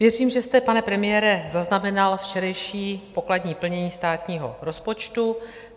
Věřím, že jste, pane premiére, zaznamenal včerejší pokladní plnění státního rozpočtu.